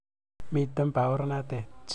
Miten paornatet.